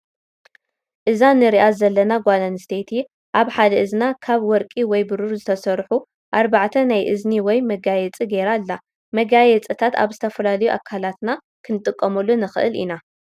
እዛ እንሪኣ ዘለና ጓል ኣነስተይቲ ኣብ ሓደ እዝና ካብ ወርቂ ወይ ብሩር ዝተሰርሑ ኣርባዕተ ናይ እዝኒ ወይ መጋየፂ ገይራ ኣላ ።መጋየፅታት ኣብ ዝተፈላለዩ ኣካላትና ክንጥቀመሉ ንክእል ኢና።